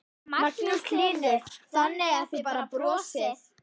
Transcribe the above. Magnús Hlynur: Þannig að þið bara brosið?